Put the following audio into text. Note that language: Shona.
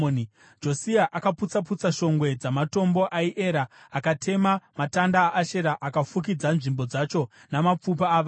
Josia akaputsa-putsa shongwe dzamatombo aiera akatema matanda aAshera akafukidza nzvimbo dzacho namapfupa avanhu.